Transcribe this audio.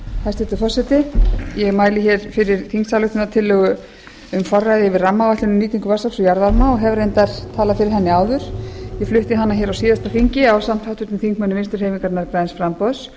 hæstvirtur forseti ég mæli hér fyrir þingsályktunartillögu um forræði yfir rammaáætlun um nýtingu vatnsafls og jarðvarma og hef reyndar talað fyrir henni áður ég flutti hana hér á síðasta þingi ásamt háttvirtum þingmönnum vinstri hreyfingarinnar græns framboðs